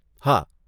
હા !